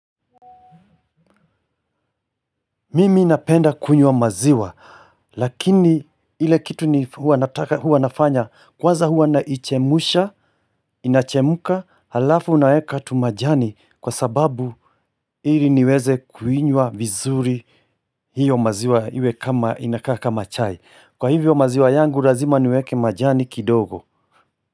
Mimi napenda kunywa maziwa. Lakini ile kitu ni huwa nafanya kwanza huwa naichemusha. Inachemuka halafu naeka tumajani. Kwa sababu ili niweze kuinywa vizuri. Hiyo maziwa iwe kama inakaa kama chai. Kwa hivyo maziwa yangu lazima niweke majani kidogo.